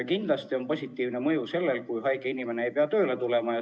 Kindlasti on positiivne mõju sellel, kui haige inimene ei pea tööle tulema.